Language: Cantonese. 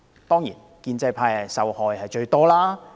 當然，建制派受害最大。